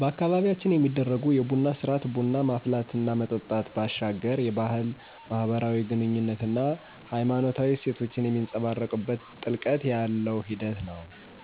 በአካባቢያችን የሚደረጉ የቡና ስርአት (ቡና ማፍላት እና መጠጣት) ባሻገር የባህል፣ ማህበራዊ ግኑኝነት አና ሃይማኖታዊ እሴቶችን የሚንፀባረቅበት ጥልቀት ያለው ሂደት ነው።